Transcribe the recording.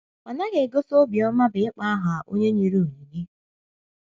Ọ naghị egosi obiọma bụ́ ịkpọ aha onye nyere onyinye.